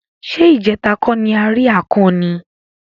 Ṣé ìjẹta kó ni a rí akàn ni?